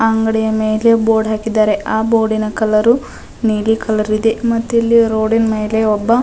ಅಂಗಡಿಯ ಮೆಲೆ ಬೋರ್ಡ್ ಹಾಕಿದ್ದಾರೆ ಆ ಬೋರ್ಡ್ ನ ಕಲರ್ ನೀಲಿ ಕಲರ್ ಇದೆ ಮತ್ತಿಲ್ಲಿ ರೋಡ್ ಮೇಲೆ ಒಬ್ಬ --